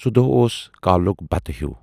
سُہ دۅہ اوسُس کالُک بَتہٕ ہِیوٗ